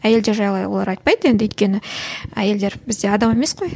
әйелдер жайлы олар айтпайды енді өйткені әйелдер бізде адам емес қой